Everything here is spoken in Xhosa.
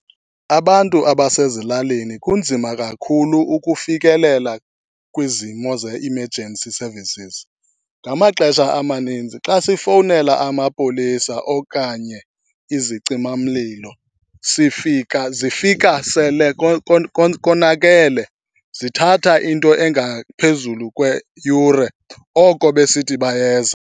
Abantu abasezilalini kunzima kakhulu ukufikelela kwizimo ze-emergency services. Ngamaxesha amaninzi xa sifowunela amapolisa okanye izicimamlilo sifika, zifika sele konakele. Zithatha into engaphezulu kweyure, oko besithi bayeza.